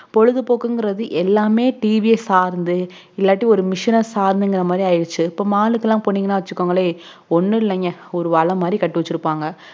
பொழுதுபோக்குங்குறது எல்லாமே tv சார்ந்து இல்லாட்டி ஒரு machine சார்ந்துங்குற மாதிரி ஆயிருச்சு mall க்கு போனீங்கன்னா வச்சுக்கோங்களே ஒனுல்லங்க ஒரு வள மாதிரி கட்டிவாச்சிருப்பாங்க